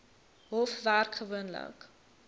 hof werk gewoonlik